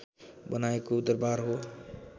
बनाएको दरवार हो